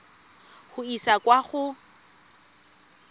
go e isa kwa go